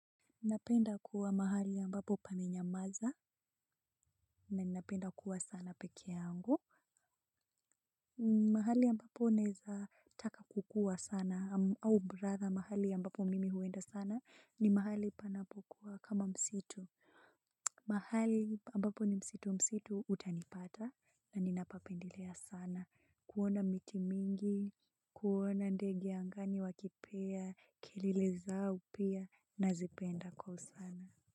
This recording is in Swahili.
Napenda kuwa mahali ambapo pamenyamaza na ninapenda kuwa sana peke yangu. Mahali ambapo naeza taka kukuwa sana au bradha mahali ambapo mimi huenda sana ni mahali panapokuwa kama msitu. Mahali ambapo ni msitu msitu utanipata na ninapapendelea sana. Kuona miti mingi, kuona ndege angani wakipea, kelele zao pia nazipenda kwa usana.